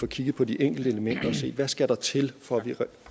kigget på de enkelte elementer og se hvad der skal til for